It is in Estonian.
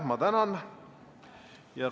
Ma tänan.